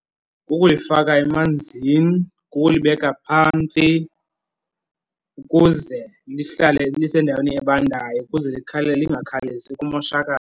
Kukulifaka emanzini, kukulibeka phantsi ukuze lihlale lisendaweni ebandayo ukuze lingakhawulezi kumoshakale.